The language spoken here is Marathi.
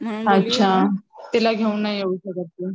म्हणून तिला घेऊन नाही येऊ शकत ती.